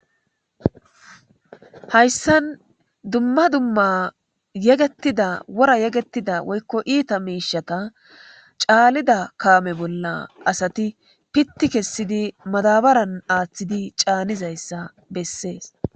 Hayssan dumma dumma yegeththida wora yegeththida woykko iitha miishshata caanida kaame bolla asathi piththi kessidi madaabaran aaththidi caanizayssa bessees.